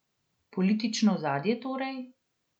Politično ozadje torej?